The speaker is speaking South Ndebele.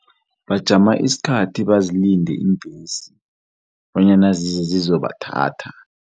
Bajama isikhathi bazilinde iimbhesi bonyana zize zizobathatha.